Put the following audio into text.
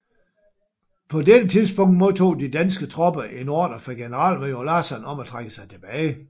På dette tidspunkt modtog de danske tropper en ordre fra generalmajor Lasson om at trække sig tilbage